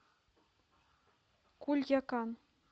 кульякан